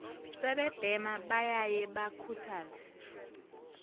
sebebhema bayaye bakhuthaze